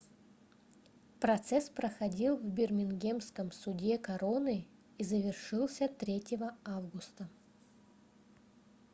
процесс проходил в бирмингемском суде короны и завершился 3 августа